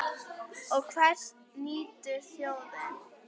Og hvers nýtur þjóðin?